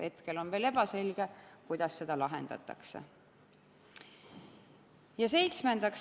Hetkel on veel ebaselge, kuidas seda lahendatakse.